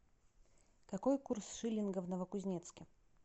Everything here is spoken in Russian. какой курс шиллинга в новокузнецке